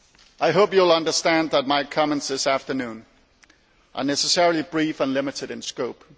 I hope you will understand that my comments this afternoon are necessarily brief and limited in scope.